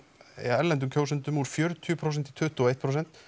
erlendum kjósendum úr fjörutíu prósent í tuttugu og eitt prósent